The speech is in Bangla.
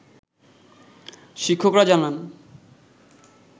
শিক্ষকরা জানান